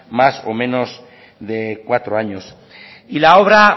más o menos de cuatro años y la obra